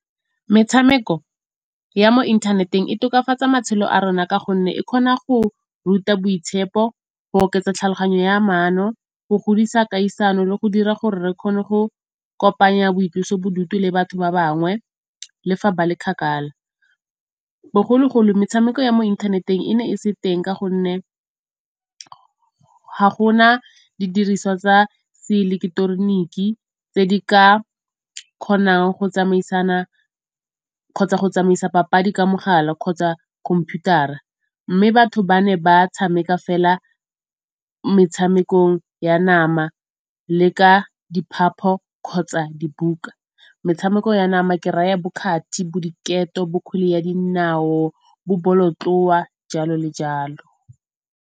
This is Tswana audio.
Metshameko ya mo inthaneteng e tokafatsa matshelo a rona ka gonne e kgona go ruta boitshepo, go oketsa tlhaloganyo ya maano, go godisa kgaisano le go dira gore re kgone go kopanya boitlosobodutu le batho ba bangwe le fa ba le kgakala. Bogologolo metshameko ya mo inthaneteng e ne e se teng ka gonne ga gona didiriswa tsa seileketeroniki tse di ka kgonang go tsamaisana kgotsa go tsamaisa papadi ka mogala kgotsa computer-a. Mme batho ba ne ba tshameka fela metshameko ya nama le ka diphapo kgotsa dibuka. Metshameko ya nama ke raya bo kgathi, bo diketo, bo kgwele ya dinao, bo bolotloa, jalo le jalo.